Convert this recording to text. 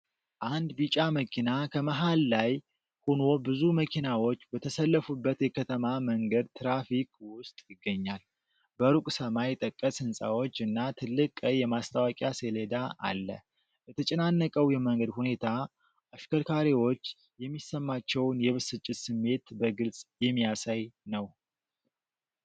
አንድ ቢጫ መኪና ከመሃል ላይ ሆኖ ብዙ መኪናዎች በተሰለፉበት የከተማ መንገድ ትራፊክ ውስጥ ይገኛል። በሩቅ ሰማይ ጠቀስ ህንፃዎች እና ትልቅ ቀይ የማስታወቂያ ሰሌዳ አለ። የተጨናነቀው የመንገድ ሁኔታ አሽከርካሪዎች የሚሰማቸውን የብስጭት ስሜት በግልጽ የሚያሳይ ነው።